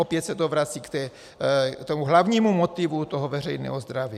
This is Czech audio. Opět se to vrací k tomu hlavnímu motivu toho veřejného zdraví.